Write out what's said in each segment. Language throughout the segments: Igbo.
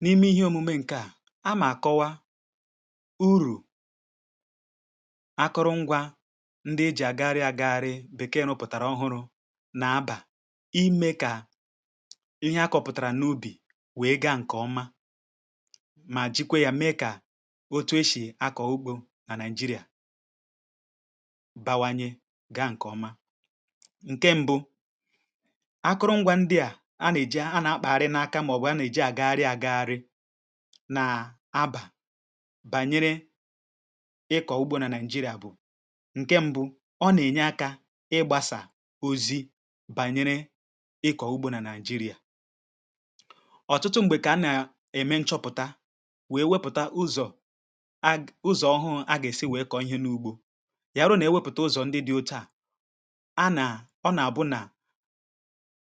n’ihe omume ǹkè a agàm àkọwa ihe ịgbasa òlọ̀rọ̀ ọhụụ nà ikpȧ ezì nà ème nà iwėpụ̀tà anụ ezì nà-àlà ugwu awụsa ǹke Nigeria um ǹke mbụ nà-àlà ugwu ǹke Nigeria a nà-èji ezigbote ulọ̀ ezì a rùrù ǹkè ọma àkpa ezì ọ̀tụtụkwa ihe e jì azụ̀ ezì dịkà ihe e jì ènye ha nri nà ihe e jì ènye ha mmiri̇ um ǹke ọ̀lọ̀lọ̀ ọhụrụ̇ ihe ndị ahụ̀ nà-èji akȧ ha edozi onwe ha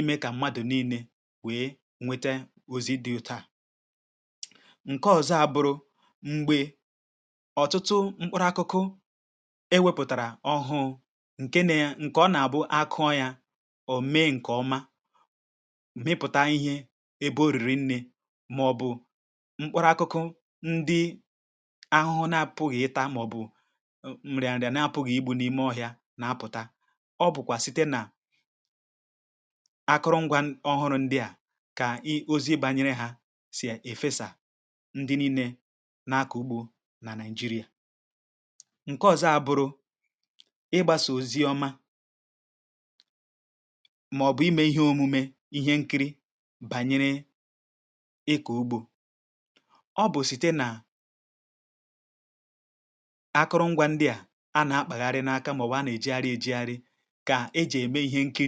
ime kà ezì wee nwete nri̇ m̀gbè ha kwèsiri nwete nri̇ imekwa kà ezì wee nwete mmi̇ri̇ ọ̇ṅụ̇ṅụ̇ m̀gbè ha kwèsiri nwete mmi̇ri̇ ọ̇ṅụ̇ṅụ̇ ihe ndị à nà-ème kà àrụgbasi ezì ike um ime kà ezì ndị ahụ̀ too dịkà ha sì èto ǹkè ọma ọ̀zọ a bụrụ nà nà-àlà ugwu̇ ha nà-èji akụrụngwa àmata àgbụ̀rụ̀ ezì ǹke dị mmȧ iji̇ wèe kpaa ezì ya mèrè n’àlà ugwu̇ ha nà-èji ezì ndị nwere ezigbo àgbụ̀rụ̀ àkpọ̇ ezì ihe ndị à nà-ème kà ezì ha wèe too ọsịịsọ̇ ọ nà-èmekwa kà ezì ha nụọ ụmụ̀ n’ụ̀bàrà mekwa kà ezì ha ghàra ịdà ọrị̀à ọsịịsọ̇ a nà-ènwe ụlọ̀ m mbìnye egȯ ndi wèpụ̀tara onwe ha i bìnyè ndi na-akpa anụ ezì egȯ ihẹ à nà-ème kà ndi na-akpa ezì wèe nweta ezigbote egȯ iji̇ kpa ezì n’ebe ọ bàrà ụbȧrȧ n’ògwù awụsa ǹke ọzọ abụrụ nà a nà-èji akụrụngwȧ ọhụrụ ǹke bìkeè àchọpụ̀ta ebe ndi e nwèrè ahịȧ ejė buru ezì ndị ahụ̇ akọ̇pụ̀tàrà wèe ree n’ahịa um ǹke ọzọ abụrụkwa nà ọ̀lọ̀rọ̀ ọhụụ̇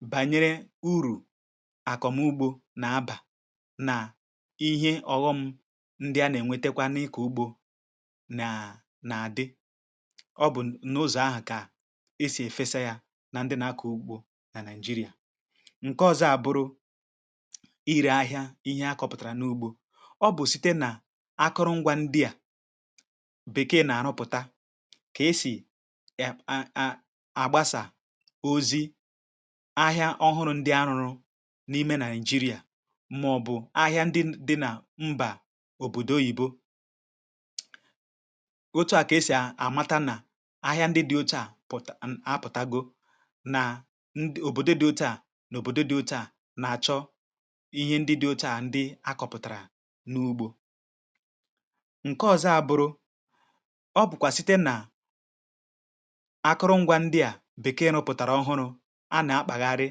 nà-ème kà a mara kà a gà-èsi wèe dozie ezì kà ha ghàra ịdà ọrịà ọ nà-èmekwa kà amata ụ̀dị nkuzi a nà-àkuzi wèe nye ndị nȧ-ȧkpụ ezì kà ha mara kà ha gà-èsi wèe lekọta ezì ha anyȧ kà ezì ha ghàra ịdà ọrịà ǹke ọ̀zọ abụrụ site nà akụrụngwȧ ọ̀lọ̀rọ̀ hụ a nà-ème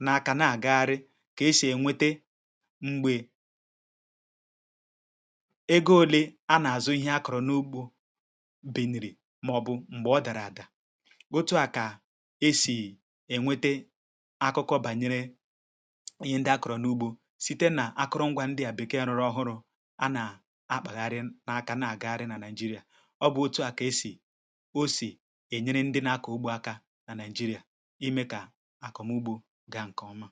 mgbasà ozi̇ n’igwė ònyònyò nà n’igwė okwu̇ iji̇ wèe kụziere ndị nȧ-akpȧ ezì urù ọ bàrà n’ikpȧ ezì nà otu esì ènwete ezigbote egȯ n’ikpȧ ezì nà otu o sì wèe dị mfe n’ịkpȧ ezì nà otu esì ènwete ezì ndị bụ àgbụ̀rụ̀ma site nà akụrụngwȧ mgbasà ozi̇ ǹkẹ ọlụ̀rụ̀ ọhụhụ a nà-àkụzi urù ọ bàrà nà a gà-èlepù anya nà ihe gbasara òmenàlà nà okpukperechì àlakụ̀ba kà ọ ghàra ịbụ̇ ihẹ ọgbachi wèe nye ndị nȧ-akpụ ezì n’ihì nà n’ugwu awụsa màọ̀bụ̀ nà àlà ugwù okpukperechì ǹkẹ àlakụ̀ba bụ̀ ihe bara ụbȧ ebe ahụ̀ ǹke ọ̀zọ òkpukperechi àlakụ̇bȧ anaghị èkwe ha kà ha kpa anụ ezì n’ihi nà anụ ezì a nà-àhụta yȧ dịkà anụ rụrụ àrụ ya mèrè site nà akụrụngwa mgbasà ozi̇ a nà-àgwa ha kà ha mee kà ndị nà-àkpa ezì nwee òhèrè kà ha nwe ikė ghara ịkpọ ezì kà aghara inye hȧ nsògbu(um)